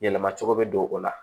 Yɛlɛma cogo bɛ don o la